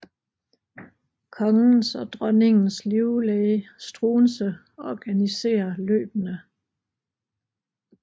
Kongens og dronningens livlæge Struensee organisere løbene